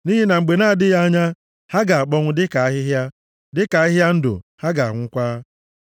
nʼihi na mgbe na-adịghị anya, ha ga-akpọnwụ dịka ahịhịa, dịka ahịhịa ndụ, ha ga-anwụkwa.